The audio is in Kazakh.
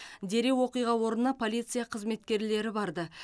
дереу оқиға орнына полиция қызметкерлері барды